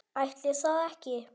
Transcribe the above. Ætli það ekki.